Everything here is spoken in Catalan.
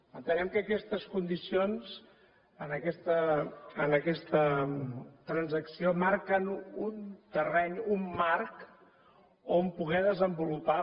entenem que aquestes condicions en aquesta transacció marquen un terreny un marc on poder desenvolupar